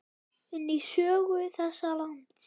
inn í sögu þessa lands.